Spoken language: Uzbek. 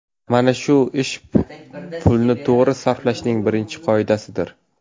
Mana shu ish pulni to‘g‘ri sarflashning birinchi qoidasidir.